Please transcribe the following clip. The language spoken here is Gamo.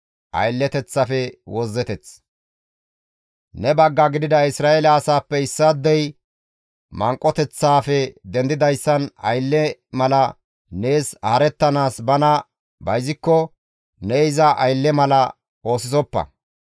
« ‹Ne bagga gidida Isra7eele asaappe issaadey manqoteththaafe dendidayssan aylle mala nees haarettanaas bana bayzikko ne iza aylle mala oosisoppa.